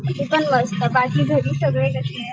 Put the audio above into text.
मी पण मस्त, बाकी घरी सगळे कशेयेत?